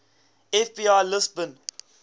fbi lists bin